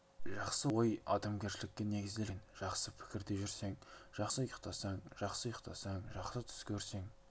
жақсы ой адамгершілікке негізделген жақсы пікірде жүрсең жақсы ұйықтайсың жақсы ұйықтасаң жақсы түс көресің